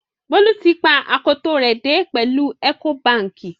Bolu tì pa akòtó rẹ dẹ̀ pẹ̀lú Ecobankì.